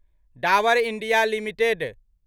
Dabur India limited